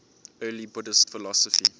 early buddhist philosophy